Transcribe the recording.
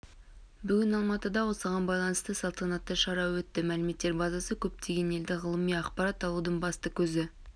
бүгін алматыда осыған байланысты салтанатты шара өтті мәліметтер базасы көптеген елде ғылыми ақпарат алудың басты көзі